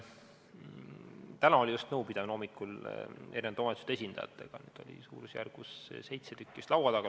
Täna oli just hommikul nõupidamine omavalitsuste esindajatega, neid oli suurusjärgus seitse laua taga.